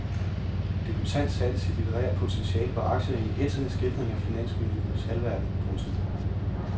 Debutant satte sit litterære potentiale på aktier i en ætsende skildring af finansmiljøets halvverden. punktum